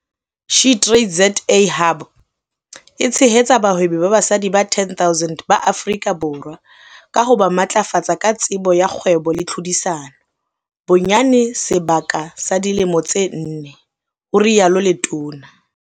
SheTradesZA Hub e tshehetsa bahwebi ba basadi ba 10 000 ba Afrika Borwa ka ho ba matlafatsa ka tsebo ya kgwebo le tlhodisano bonyane sebaka sa dilemo tse nne," ho rialo letona.